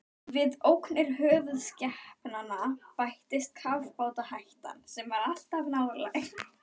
Við ógnir höfuðskepnanna bættist kafbátahættan, sem var alltaf nálæg.